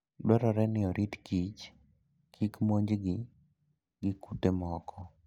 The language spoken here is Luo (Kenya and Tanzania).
Dwarore ni orit kich kik monjgi gi kute moko.